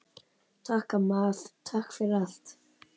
Takk, amma, takk fyrir allt.